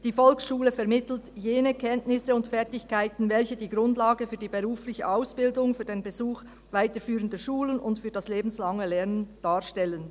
Die Volksschule vermittelt jene Kenntnisse und Fertigkeiten, welche die Grundlage für die berufliche Ausbildung, für den Besuch weiterführender Schulen und für das lebenslange Lernen darstellen.